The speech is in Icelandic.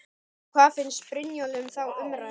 En hvað finnst Brynjólfi um þá umræðu?